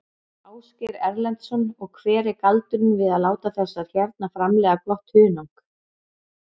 Ásgeir Erlendsson: Og hver er galdurinn við að láta þessar hérna framleiða gott hunang?